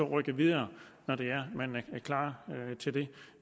rykke videre når man er klar til det